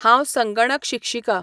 हांव संगणक शिक्षिका